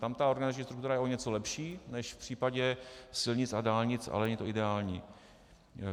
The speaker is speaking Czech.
Tam ta organizační struktura je o něco lepší než v případě silnic a dálnic, ale není to ideální.